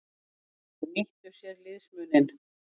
Þeir nýttu sér liðsmuninn.